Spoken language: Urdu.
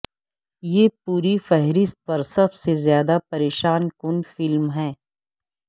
یہ پوری فہرست پر سب سے زیادہ پریشان کن فلم ہے